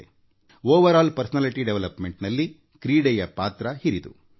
ಸಮಗ್ರ ವ್ಯಕ್ತಿತ್ವದ ವಿಕಾಸದಲ್ಲಿ ಕ್ರೀಡೆಯ ಪಾತ್ರ ಮಹತ್ವದ್ದು